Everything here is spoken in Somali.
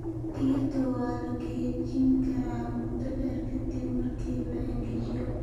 Digirta waa la kaydin karaa muddo dheer ka dib marka la engejiyo.